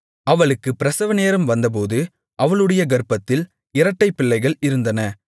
அவளுக்குப் பிரசவநேரம் வந்தபோது அவளுடைய கர்ப்பத்தில் இரட்டைப்பிள்ளைகள் இருந்தன